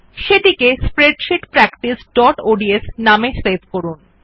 সেটিকে স্প্রেডশীট practiceঅডস নামে সেভ করুন